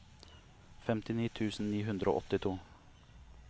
femtini tusen ni hundre og åttito